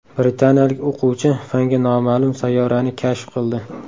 Britaniyalik o‘quvchi fanga noma’lum sayyorani kashf qildi.